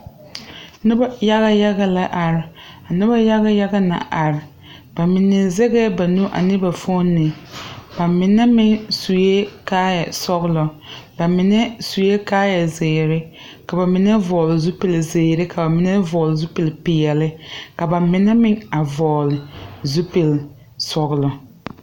Nobɔ yaga yaga la are a nobɔ yaga yaga na are ba mine zɛgɛɛ ba nu foone ba mine meŋ suee kaayɛ sɔglɔ ba mine suee kaayɛ zeere ka ba mine vɔgle zupile zeere ka ba mine vɔgle zupile peɛle ka ba mine meŋ a vɔgle zupilsɔglɔ.